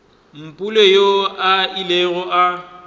mpule yoo a ilego a